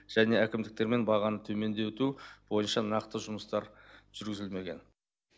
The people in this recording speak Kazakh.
және әкімдіктермен бағаны төмендету бойынша нақты жұмыстар жүргізілмеген